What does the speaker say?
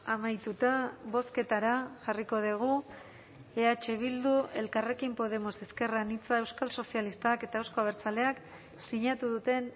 amaituta bozketara jarriko dugu eh bildu elkarrekin podemos ezker anitza euskal sozialistak eta euzko abertzaleak sinatu duten